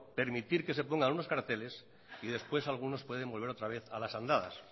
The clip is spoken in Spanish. permitir que se pongan unos carteles y después algunos pueden volver otra vez a las andadas